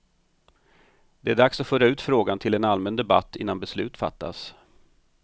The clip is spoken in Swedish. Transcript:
Det är dags att föra ut frågan till en allmän debatt innan beslut fattas.